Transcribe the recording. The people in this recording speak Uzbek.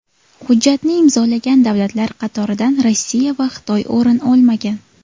Hujjatni imzolagan davlatlar qatoridan Rossiya va Xitoy o‘rin olmagan.